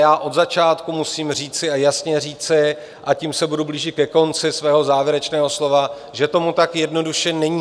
Já od začátku musím říci, a jasně říci - a tím se budu blížit ke konci svého závěrečného slova - že tomu tak jednoduše není.